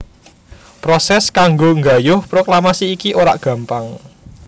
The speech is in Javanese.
Prosès kanggo nggayuh proklamasi iki ora gampang